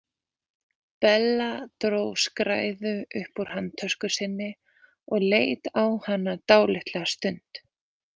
Bella dró skræðu upp úr handtösku sinni og leit á hana dálitla stund.